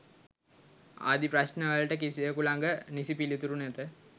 ආදී ප්‍රශ්න වලට කිසිවකු ළඟ නිසි පිළිතුරු නැත.